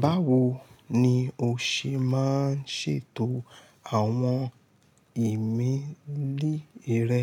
Báwo ni o ṣe máa ń ṣètò àwọn ìmélì rẹ?